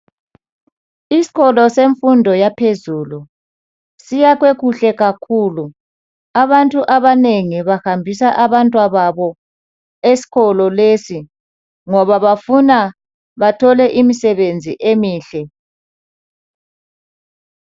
Isikolo semfundo yaphezulu siyakhwe kuhle kakhulu abantu abanengi bahambisa abantwababo esikolo lesi ngoba bafuna bathole imisebenzi emihle.